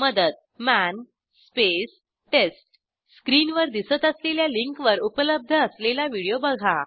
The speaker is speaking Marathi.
मदत मन स्पेस टेस्ट स्क्रीनवर दिसत असलेल्या लिंकवर उपलब्ध असलेला व्हिडिओ बघा